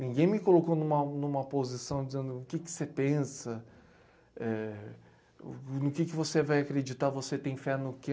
Ninguém me colocou numa numa posição dizendo o que você pensa, no que você vai acreditar, você tem fé no quê.